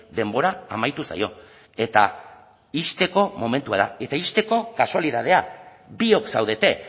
denbora amaitu zaio eta ixteko momentua da eta ixteko kasualitatea biok zaudete